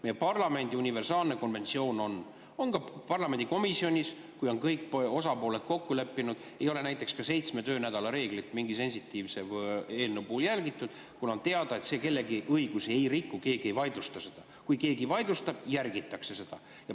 Meie parlamendis on universaalne konventsioon – see on ka parlamendikomisjonis nii –, et kui kõik osapooled on kokku leppinud, siis ei ole mingi sensitiivse eelnõu puhul ka näiteks seitsme töönädala reeglit järgitud, kuna on teada, et see kellegi õigusi ei riku, keegi ei vaidlusta seda ja kui keegi vaidlustab, järgitakse seda.